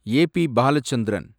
A. B. Balachandran